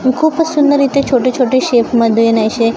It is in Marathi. तू खूपच सुंदर इथे छोटे छोटे शेपमध्ये नाहीसे--